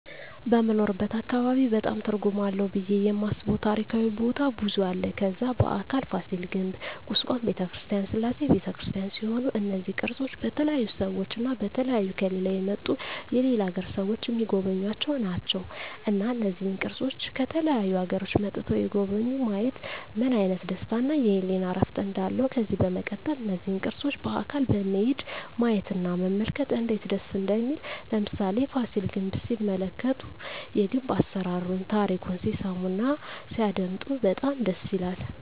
በምንኖርበት አካባቢ በጣም ትርጉም አለው ብየ የማስበው ታሪካዊ ቦታ ብዙ አለ ከዛ በአካል ፋሲል ግንብ ኩስካም በተክርስቲያን ስላሴ በተክርስቲያን ሲሆኑ እነዚ ቅርሶች በተለያዩ ሰዎች እና በተለያዩ ከሌላ የመጡ የሌላ አገር ሰዎች ሚጎበኙአቸው ናቸው እና እነዚህን ቅርሶች ከተለያዩ አገሮች መጥተዉ የጎበኙ ማየት ምን አይነት ደስታ እና የህሊና እርፍ እንዳለው ከዚህ በመቀጠል እነዚህን ቅርሶች በአካል በመሄድ ማየት እና መመልከት እነዴት ደስ እንደሚል ለምሳሌ ፋሲል ግንብ ሲመለከቱ የግንብ አሰራሩን ታሪኩን ሲሰሙ እና ሲያደመጡ በጣም ደስ ይላል